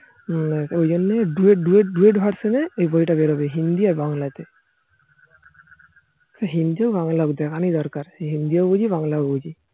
ওই জন্য duo duo duo version এই বই তা বেরোবে হিন্দি আর বাংলা তে হিন্দি হোক বাংলা হোক দেখা নিয়ে দরকার হিন্দিও বুঝি বাংলায় বুঝি